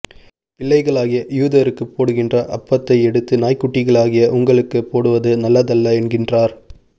பிள்ளைகளாகிய யூதருக்குப் போடுகின்ற அப்பத்தை எடுத்து நாய்க்குட்டிளாகிய உங்களுக்குப் போடுவது நல்லதல்ல என்கின்றார்